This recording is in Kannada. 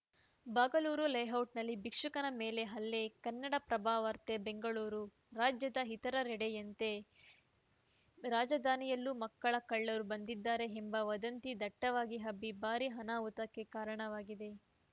ಬಾಗಲೂರು ಲೇಔಟಲ್ಲಿ ಭಿಕ್ಷುಕನ ಮೇಲೆ ಹಲ್ಲೆ ಕನ್ನಡಪ್ರಭ ವಾರ್ತೆ ಬೆಂಗಳೂರು ರಾಜ್ಯದ ಇತರೆಡೆಯಂತೆ ರಾಜಧಾನಿಯಲ್ಲೂ ಮಕ್ಕಳ ಕಳ್ಳರು ಬಂದಿದ್ದಾರೆ ಎಂಬ ವದಂತಿ ದಟ್ಟವಾಗಿ ಹಬ್ಬಿ ಭಾರೀ ಅನಾಹುತಕ್ಕೆ ಕಾರಣವಾಗಿದೆ